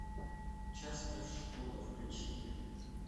частная школа включи мне